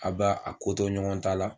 A b'a a ko to ɲɔgɔn ta la,